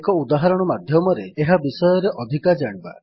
ଏକ ଉଦାହରଣ ମାଧ୍ୟମରେ ଏହା ବିଷୟରେ ଅଧିକ ଜାଣିବା